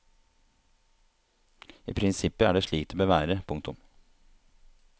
I prinsippet er det slik det bør være. punktum